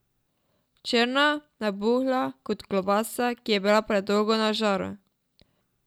Črna, nabuhla, kot klobasa, ki je bila predolgo na žaru.